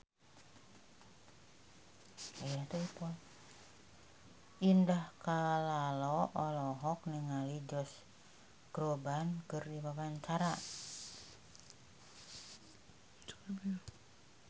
Indah Kalalo olohok ningali Josh Groban keur diwawancara